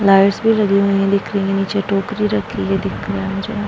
lights भी लगी हुई है दिख रही है | नीचे टोकरी रखी है दिख रही है जरा --